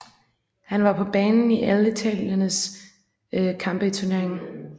Han var på banen i alle italienernes kampe i turneringen